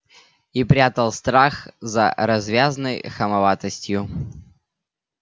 и прятал страх за развязной хамоватостью